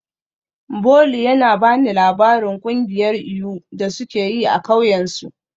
Bolu yana ba ni labarin kungiyar iyu da suke yi a kauyensu.